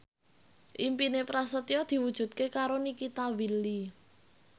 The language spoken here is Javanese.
impine Prasetyo diwujudke karo Nikita Willy